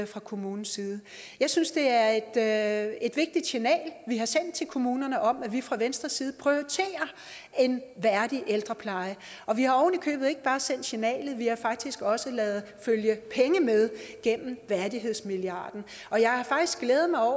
fra kommunens side jeg synes det er et er et vigtigt signal vi har sendt til kommunerne om at vi fra venstres side prioriterer en værdig ældrepleje vi har oven i købet ikke bare sendt signalet vi har faktisk også ladet følge penge med gennem værdighedsmilliarden og jeg har faktisk glædet mig over